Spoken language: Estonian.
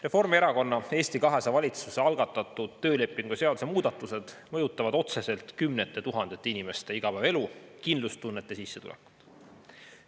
Reformierakonna ja Eesti 200 valitsuse algatatud töölepingu seaduse muudatused mõjutavad otseselt kümnete tuhandete inimeste igapäevaelu, kindlustunnet ja sissetulekut.